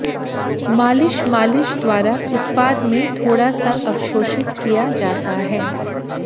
मालिश मालिश द्वारा उत्पाद में थोड़ा सा अवशोषित किया जाता है